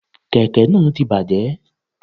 Kèké náà ti bàjé